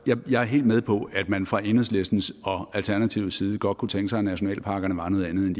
jeg er helt med på at man fra enhedslistens og alternativets side godt kunne tænke sig at nationalparkerne var noget andet